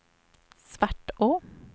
Svartå